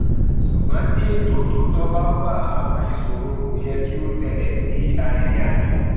ṣùgbọn tí ètò tó tọ bá wà àwọn ìṣòro kò yẹ kí ó ṣẹlẹ sí arìnrìnàjò